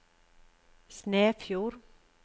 Snefjord